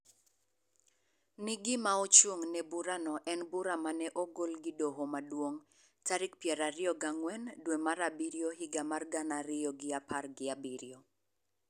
ni gima ochung�ne burano en bura ma ne ogol gi Doho Maduong� tarik piero ariyo gi ang'wen dwe mar Abiriyo higa mar gana ariyo gi apar gi abiriyo,